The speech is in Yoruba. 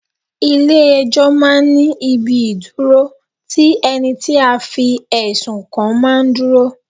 Ilẹ̀ ẹjọ́ máa ń ní ibi ìdúró tí ẹni tí a fi ẹ̀sùn kan máa ń dúró.